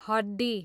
हड्डी